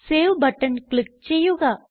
save button click ചെയ്യുക